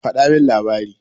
Faɗa min labari.